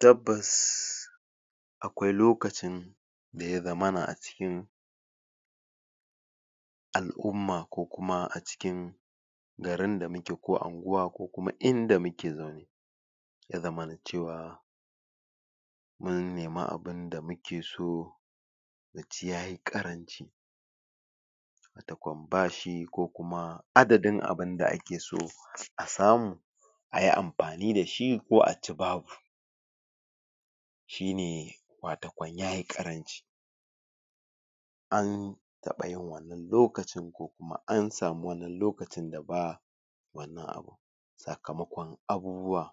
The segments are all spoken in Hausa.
tabbas akwai lokacin da ya zamana a cikin al'umma ko kuma a cikin garin da muke ko anguwa ko kuma inda muke ya zamana cewa mun nema abunda muke so? da kwambashi ko kuma adadin abunda akeso a samu ayi amfani da shi ko a ci babu shine wato kan yayi ƙarami an taɓa yin wannan lokacin ko kuma an samu wannan lokacin da ba sakamakon abubuwa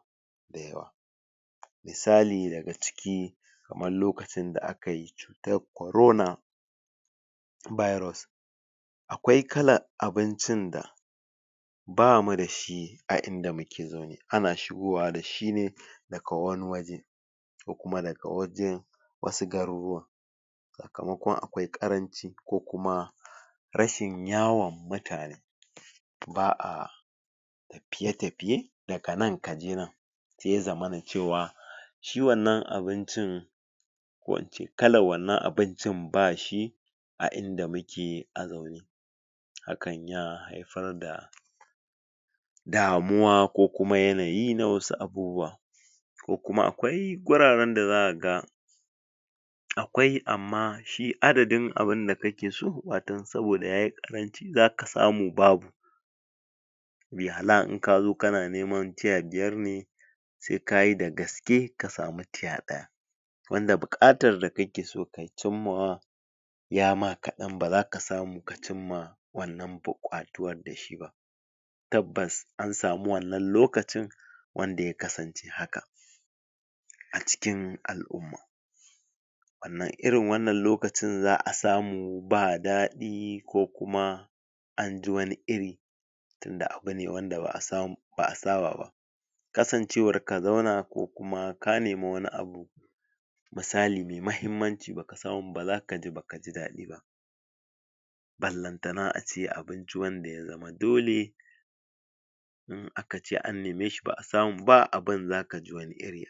misali daga ciki kaman lokacin da akayi dab korona biros akwai kalan abincin da bamu da shi a inda muke ne ana shigowa da shi ne daka wani waje ko kuma daga waje wasu garurruwan kaman kuma akwai ƙaranci ko kuma rashin yawon mutane ba'a tafiye tafiye daga nan kaje nan sai ya zamana cewa shi wannan abincin ko ince kalan wannan abincin ba shi a inda muke alo hakan ya haifar da damuwa ko kuma yanayi na wasu abubuwa ko kuma akwai wuraren da zaka ga akwai amma shi adadin abunda kakeso buƙatu saboda yayi ƙaranci zaka samu babu yi hala in kazo kana nema tiya biyar ne sai kayi dagaske ka samu tiya ɗaya wanda buƙatar da kakeso ka cin ma wa yama kaɗan ba zaka samu ka cimma wannan buƙatuwan tabbas an samu wannan lokacin wanda yakasance haka a cikin al'umma sannan irin wannan lokacin za'a samu ba daɗi ko kuma anbi wani iri tunda abu ne wanda ba'a samu ba'a saba ba kasancewa ka zauna ko kuma ka nema wani abun misali mai mahimmanci baka samu ba zaka ji baka jidaɗi ballantana abince ace wanda ya zama dole in akace an neme shi ba'a samu ba abun zaka ji wani iri